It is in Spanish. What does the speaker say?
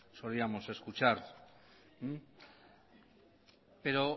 solíamos escuchar pero